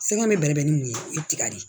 Sɛgɛn bɛ bɛrɛ bɛn ni mun ye o ye tiga de ye